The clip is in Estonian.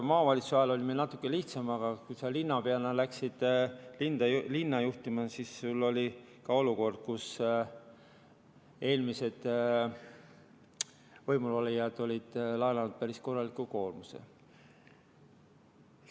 Maavalitsuse ajal oli meil natuke lihtsam, aga kui sa linnapeana läksid linna juhtima, siis sul oli ka olukord, kus eelmised võimulolijad olid laenanud päris korralikult.